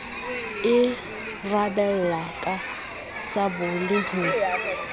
e rabella ka sabole ho